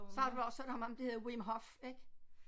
Så har du også hørt om ham der hedder Wim Hof ik